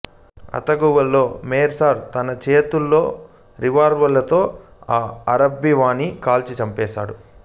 ఆతగువులో Meursault తన చెతిలో రివాల్వరుతో ఆ అరబ్బీవాణ్ణి కాల్చి చంపేస్తాడు